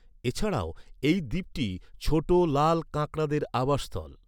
এছাড়াও, এই দ্বীপটি ছোট লাল কাঁকড়াদের আবাসস্থল।